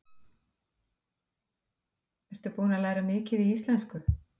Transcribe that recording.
Ertu búin að læra mikið í íslensku?